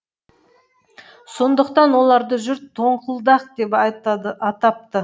сондықтан оларды жұрт тоңқылдақ деп атапты